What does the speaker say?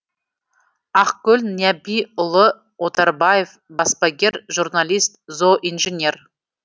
ақкөл нәбиұлы отарбаев баспагер журналист зооинженер